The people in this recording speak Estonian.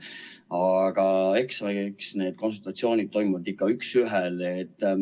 Aga eks need konsultatsioonid toimuvad ikka üks ühele.